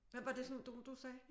Hvad var det for nogle du sagde?